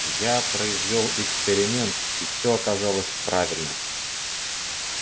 я произвёл эксперимент и все оказалось правильно